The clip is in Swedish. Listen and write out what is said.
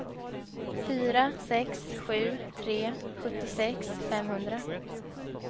fyra sex sju tre sjuttiosex femhundra